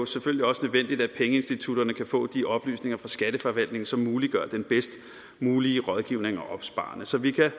selvfølgelig også nødvendigt at pengeinstitutterne kan få de oplysninger fra skatteforvaltningen som muliggør den bedst mulige rådgivning og opsparing så vi kan